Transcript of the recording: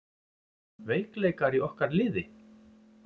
Veikleikar í okkar liði?